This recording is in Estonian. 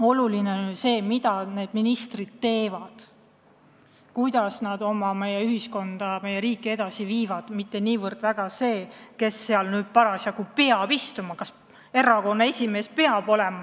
Oluline on ju see, mida need ministrid teevad, kuidas nad meie ühiskonda, meie riiki edasi viivad, mitte see, kes nendel toolidel istuvad, kas näiteks erakonna esimees peab valitsuses olema.